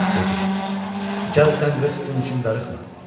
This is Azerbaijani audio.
Dedi: "Gəl sən 40 gün üçün darıxma.